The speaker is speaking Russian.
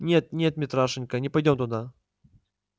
нет нет митрашенька не пойдём туда